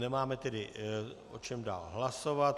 Nemáme tedy o čem dál hlasovat.